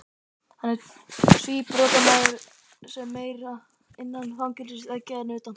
Hann er síbrotamaður sem er meira innan fangelsisveggja en utan.